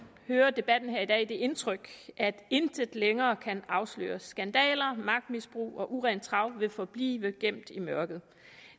hører debatten her i dag det indtryk at intet længere kan afsløres skandaler magtmisbrug og urent trav vil forblive gemt i mørket